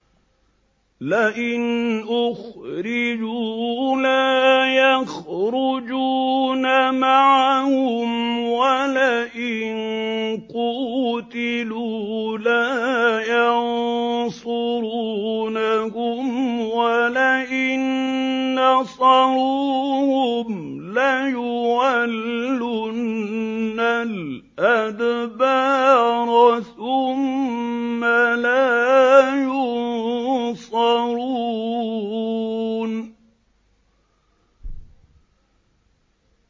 لَئِنْ أُخْرِجُوا لَا يَخْرُجُونَ مَعَهُمْ وَلَئِن قُوتِلُوا لَا يَنصُرُونَهُمْ وَلَئِن نَّصَرُوهُمْ لَيُوَلُّنَّ الْأَدْبَارَ ثُمَّ لَا يُنصَرُونَ